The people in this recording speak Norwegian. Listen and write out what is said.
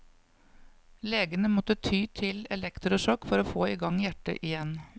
Legene måtte ty til elektrosjokk for å få i gang hjertet igjen.